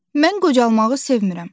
Mən qocalmağı sevmirəm.